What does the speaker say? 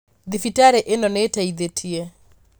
Thibitarĩ ĩno nĩĩteithĩtie